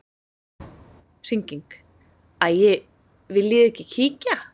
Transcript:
Hringing: Æi viljiði ekki kíkja?